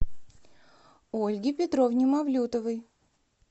ольге петровне мавлютовой